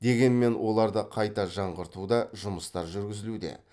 дегенмен оларды қайта жаңғыртуда жұмыстар жүргізілуде